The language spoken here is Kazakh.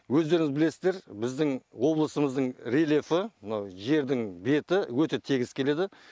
өздеріңіз білесіздер біздің облысымыздың рельефі мынау жердің беті өте тегіс келеді